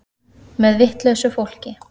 Með vitlausu fólki.